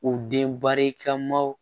U den barika maw